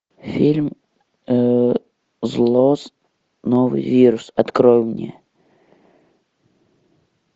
фильм зло новый вирус открой мне